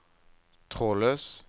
trådløs